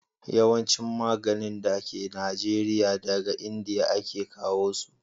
yawancin maganin da ke najeriya, daga indiya a ke kawo su